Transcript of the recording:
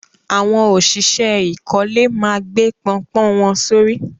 Awọn ọ̀ṣìṣẹ̀ ìkọ̀lẹ̀ na gbè pọ̀npọ́n wọn sọ̀rí.